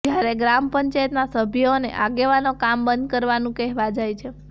જયારે ગ્રામપંચાયતના સભ્યો અને આગેવાનો કામ બંધ કરવાનું કહેવા જાય છે